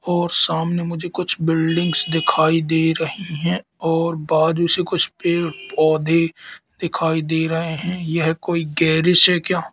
और सामने मुझे कुछ बिल्डिंग्स दिखाई दे रही है और बारिश है। कुछ पेड पौधे दिखाई दे रहे हैं। यह कोई गैरिश है क्या?